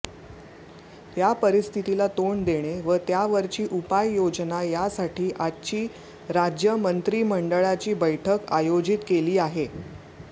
या परिस्थितीला तोंड देणे व त्यावरची उपाययोजना यासाठी आजची राज्यमंत्रिमंडळाची बैठक आयोजित केली आहे